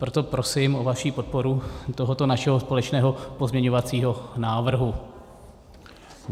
Proto prosím o vaši podporu tohoto našeho společného pozměňovacího návrhu.